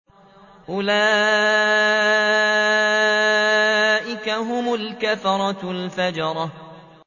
أُولَٰئِكَ هُمُ الْكَفَرَةُ الْفَجَرَةُ